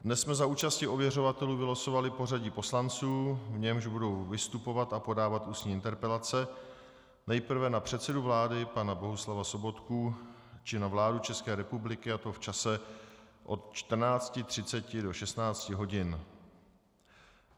Dnes jsme za účasti ověřovatelů vylosovali pořadí poslanců, v němž budou vystupovat a podávat ústní interpelace nejprve na předsedu vlády pana Bohuslava Sobotku či na vládu České republiky, a to v čase od 14.30 do 16.00 hodin.